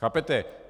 Chápete?